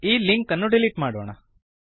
ಈ ಲಿಂಕ್ ಅನ್ನು ಡಿಲೀಟ್ ಮಾಡೋಣ